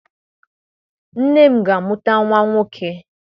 Nne m ga-amụta nwa nwoke.